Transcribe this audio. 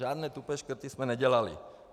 Žádné tupé škrty jsme nedělali.